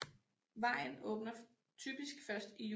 Vejen åbner typisk først i juni